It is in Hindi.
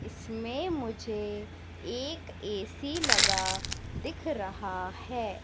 इसमें मुझे एक ए_सी लगा दिख रहा है।